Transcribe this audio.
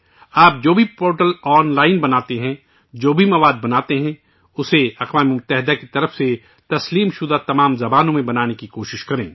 آپ جو بھی پورٹل آن لائن بناتے ہیں، جو بھی مواد بناتے ہیں، اسے اقوام متحدہ کی طرف سے تسلیم شدہ تمام زبانوں میں بنانے کی کوشش کریں